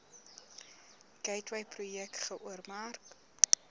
gateway projek geoormerk